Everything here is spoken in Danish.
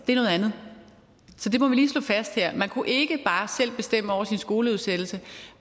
er noget andet så det må vi lige slå fast her man kunne ikke bare selv bestemme over sin skoleudsættelse